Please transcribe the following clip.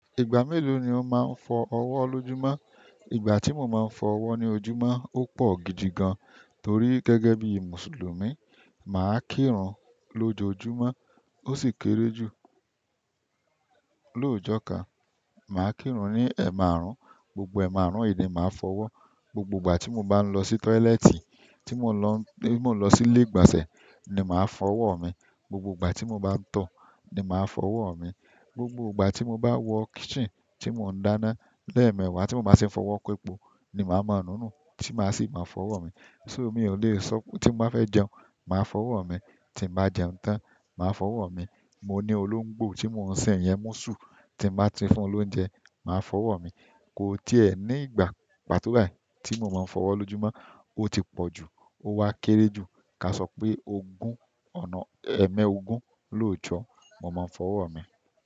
Ìgbà mélòó ni o máa ń fọ ọwọ́ lójúmọ́? Ìgbà tí mo máa ń fọ ọwọ́ lójúmọ́ ò pọ̀ gidi gan, torí gẹ́gẹ́ bí Mùsùlùmí, màá kírun lójoojúmọ́. Ó sì kéré jù, lóójọ́ kan. Mà á kírun ní ẹ̀ márùn-ún, gbogbo ẹ̀ márùn-ún yìí ni màá fọ ọwọ́. Gbogbo ìgbà tí mo bá ń lọ sí tọ́ílẹ́ẹ̀tì, tí mo lọ sí ilé ìgbọ̀nsẹ̀, ni màá fọ ọwọ́ mi. Gbogbo ìgbà tí mo bá ń tọ̀ ni màá fọ ọwọ́ mi. Gbogbo ìgbà tí mo bá wọ kitchen tí mò ń dáná lẹ́ẹ̀mẹwàá tí mo bá tì ń fọwọ́ kò epọ̀ ni màá mà núnù tí màá sì máa fọ ọwọ́ mi. So mi ò le sọ pé tí mo bà fẹ́ jẹun, màá fọ ọwọ́ mi, tí mo bá jẹun tán, màá fọ ọwọ́ mi. Mo ní olóńgbò tí mò ń sìn yẹn mú sù, tí mo bá ti fún un lóúnjẹ, màá fọ ọwọ́ mi. Kò tiẹ̀ ni ìgbà, pàtó bàí, tí mo máa ń fọ ọwọ́ lójúmọ́, ó ti pọ jù, ó wa kéré jù. Ka sọ pé ogún, ọ̀nà ẹẹ́mẹ ogún lọ́jọ́, mọ máa ń fọ ọwọ́ mi.